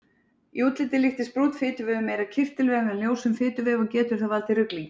Í útliti líkist brúnn fituvefur meira kirtilvef en ljósum fituvef og getur það valdið ruglingi.